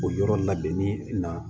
O yɔrɔ labɛnni na